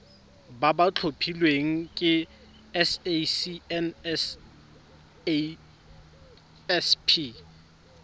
ba ba tlhophilweng ke sacnasp